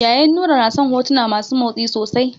Ƴaƴan Nura na son hotuna masu motsi sosai.